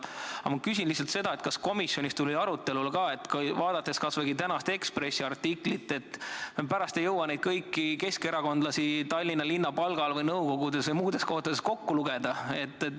Aga ma küsin lihtsalt seda, kas komisjonis tuli arutelule ka see – vaadates kas või tänast Eesti Ekspressi artiklit –, et pärast ei jõua kõiki neid keskerakondlasi, kes on Tallinna linna palgal või nõukogudes või muudes kohtades, kokku lugeda.